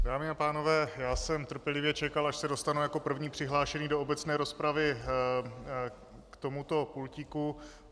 Dámy a pánové, já jsem trpělivě čekal, až se dostanu jako první přihlášený do obecné rozpravy k tomuto pultíku.